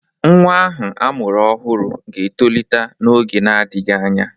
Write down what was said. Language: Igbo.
Nwa ahụ amụrụ ọhụrụ ga-etolite n'oge na-adịghị anya.